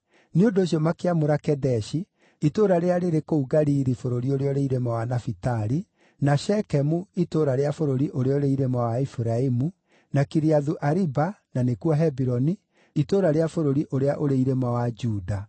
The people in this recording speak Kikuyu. Nĩ ũndũ ũcio makĩamũra Kedeshi itũũra rĩrĩa rĩrĩ kũu Galili bũrũri ũrĩa ũrĩ irĩma wa Nafitali, na Shekemu itũũra rĩa bũrũri ũrĩa ũrĩ irĩma wa Efiraimu, na Kiriathu-Ariba (na nĩkuo Hebironi) itũũra rĩa bũrũri ũrĩa ũrĩ irĩma wa Juda.